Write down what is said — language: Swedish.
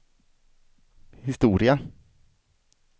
historia